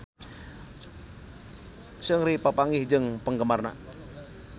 Seungri papanggih jeung penggemarna